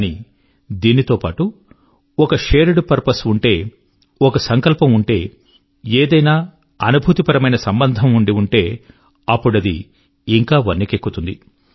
కానీ దీంతో పాటు ఒక షేర్డ్ పర్పజ్ ఉంటే ఒక సంకల్పం ఉంటే ఏదైనా అనుభూతి పరమైన సంబంధం ఉంటే అప్పుడిది ఇంకా వన్నెకెక్కుతుంది